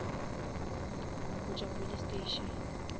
go tšwa police station